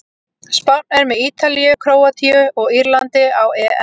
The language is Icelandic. Spánn er með Ítalíu, Króatíu og Írlandi á EM.